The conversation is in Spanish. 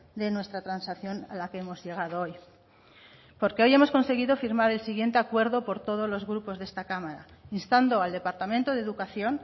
de nuestra transacción a la que hemos llegado hoy porque hoy hemos conseguido firmar el siguiente acuerdo por todos los grupos de esta cámara instando al departamento de educación